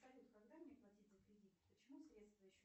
салют когда мне платить за кредит почему средства еще